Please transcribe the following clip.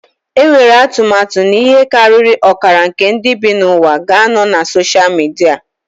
Enwere atụmatụ na ihe karịrị ọkara nke ndị bi n'ụwa ga-anọ na soshal midia